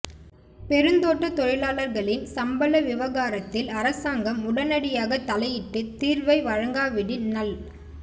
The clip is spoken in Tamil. பெருந்தோட்டத் தொழிலாளர்களின் சம்பள விவகாரத்தில் அரசாங்கம் உடனடியாக தலையிட்டு தீர்வை வழங்காவிடின் நல்